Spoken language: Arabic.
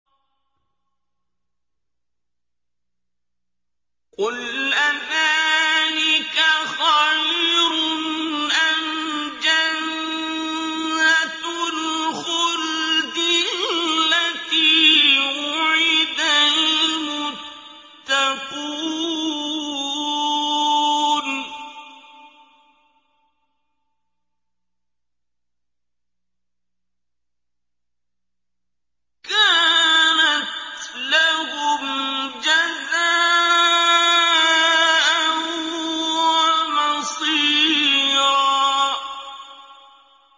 قُلْ أَذَٰلِكَ خَيْرٌ أَمْ جَنَّةُ الْخُلْدِ الَّتِي وُعِدَ الْمُتَّقُونَ ۚ كَانَتْ لَهُمْ جَزَاءً وَمَصِيرًا